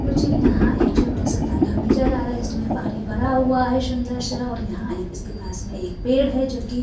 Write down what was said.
मुझे यहाँ एक छोटा सा तालाब नजर आ रहा है जिस में पानी भरा हुआ है सुंदर-सा और यहाँ इसके पास एक पेड़ है जो की --